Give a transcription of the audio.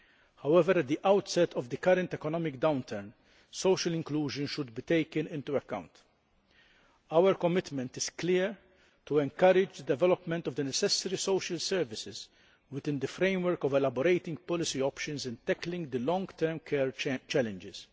However, at the outset of the current economic downturn, social inclusion should be taken into account. Our commitment is clear to encourage development of the necessary social services within the framework of elaborating policy options and tackling the long term care challenges.